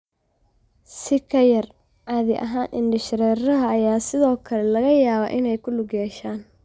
Si ka yar caadi ahaan, indhashareeraha ayaa sidoo kale laga yaabaa inay lug ku yeeshaan.